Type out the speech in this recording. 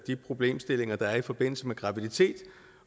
de problemstillinger der er i forbindelse med graviditet